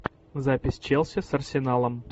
запись челси с арсеналом